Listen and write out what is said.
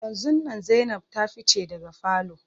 Yanzun nan Zainab ta fice daga falo.